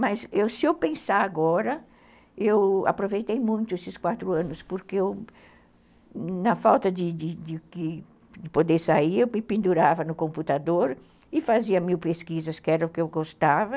Mas se eu pensar agora, eu aproveitei muito esses quatro anos, porque eu, na falta de de poder sair, eu me pendurava no computador e fazia mil pesquisas, que era o que eu gostava.